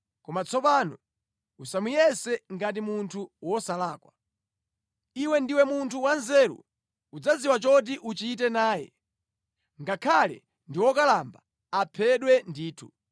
Koma tsopano usamuyese ngati munthu wosalakwa. Iwe ndiwe munthu wanzeru. Udzadziwa choti uchite naye. Ngakhale ndi wokalamba, aphedwe ndithu.”